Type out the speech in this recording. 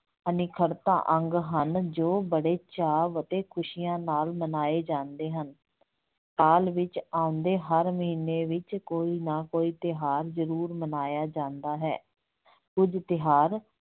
ਅਨਿੱਖੜਤਾ ਅੰਗ ਹਨ ਜੋ ਬਹੁਤ ਚਾਅ ਅਤੇ ਖੁਸੀਆਂ ਨਾਲ ਮਨਾਏ ਜਾਂਦੇ ਹਨ, ਸਾਲ ਵਿੱਚ ਆਉਂਦੇ ਹਰ ਮਹੀਨੇ ਵਿੱਚ ਕੋਈ ਨਾ ਕੋਈ ਤਿਉਹਾਰ ਜਰੂਰ ਮਨਾਇਆ ਜਾਂਦਾ ਹੈ ਕੁੱਝ ਤਿਉਹਾਰ